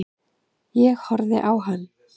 Ég horfði á hann.